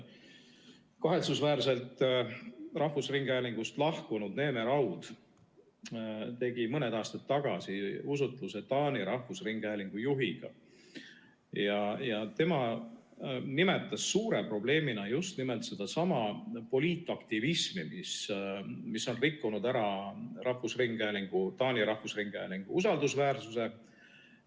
Kahetsusväärselt rahvusringhäälingust lahkunud Neeme Raud tegi mõned aastad tagasi usutluse Taani rahvusringhäälingu juhiga, kes nimetas suure probleemina just nimelt sedasama poliitaktivismi, mis on rikkunud ära Taani rahvusringhäälingu usaldusväärsuse.